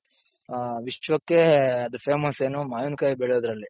ಆ ವಿಶ್ವಕ್ಕೆ ಅದು famous ಏನು ಮಾವಿನ್ಕಾಯಿ ಬೆಳೆಯೋದ್ರಲ್ಲಿ.